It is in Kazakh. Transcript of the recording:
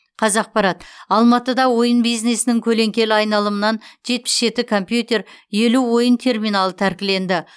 қазақпарат алматыда ойын бизнесінің көлеңкелі айналымынан жетпіс жеті компьютер елу ойын терминалы тәркіленді